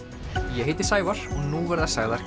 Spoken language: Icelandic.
ég heiti Sævar og nú verða sagðar